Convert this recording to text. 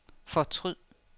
fortryd